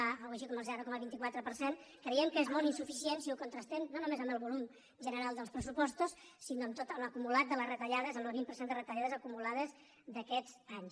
alguna cosa així com el zero coma vint quatre per cent creiem que és molt insuficient si ho contrastem no només amb el volum general dels pressupostos sinó amb tot l’acumulat de les retallades amb el vint per cent de retallades acumulades d’aquests anys